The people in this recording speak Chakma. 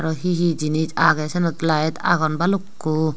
he he jinis agey saynot lite agon balukko.